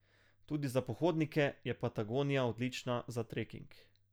Tudi za pohodnike je Patagonija odlična za treking.